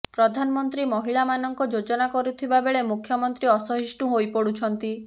ପ୍ରଧାନମନ୍ତ୍ରୀ ମହିଳା ମାନଙ୍କ ଯୋଜନା କରୁଥିବା ବେଳେ ମୁଖ୍ୟମନ୍ତ୍ରୀ ଅସହିଷ୍ଣୁ ହୋଇପଡୁଛନ୍ତି